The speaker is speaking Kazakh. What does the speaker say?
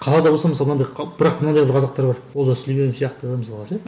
қалада болса мысалы мынандай бірақ мынандай бір қазақтар бар олжас сүлейменов сияқты мысалға ше